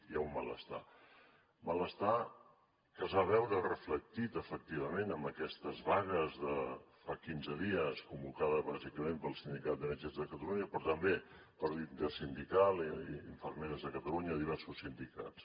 hi ha un malestar malestar que es va veure reflectit efectivament en aquestes vagues de fa quinze dies convocades bàsicament pel sindicat metges de catalunya però també per la intersindical i infermeres de catalunya i diversos sindicats